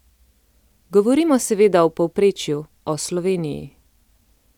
Govorimo seveda o povprečju, o Sloveniji.